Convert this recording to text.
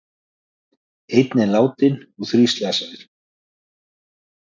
Einn er látinn og þrír slasaðir